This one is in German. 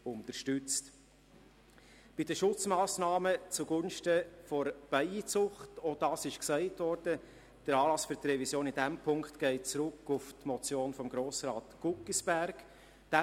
Bei den Schutzmassnahmen zugunsten der Bienenzucht geht die Revision – wie auch erwähnt worden ist – auf die Motion von Grossrat Guggisberg zurück.